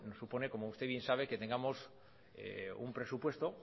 nos supone como usted bien sabe que tengamos un presupuesto